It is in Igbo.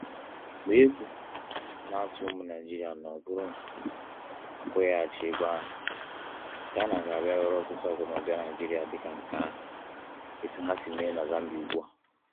Ma egwu na-atụ ụmụ Naịjirịa na ọ bụrụ na a kwụghachighị ego ahụ, China ga-abịa were ọtụtụ akụnụba Naịjirịa dịka nke ha, etu ha si eme na Zambia ugbu a.